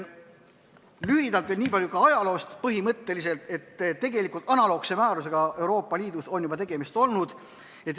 Lühidalt veel nii palju ajaloost, et analoogse määrusega on Euroopa Liidus juba tegemist olnud.